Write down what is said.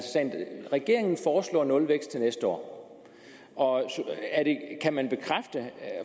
regeringen foreslår nulvækst til næste år og kan man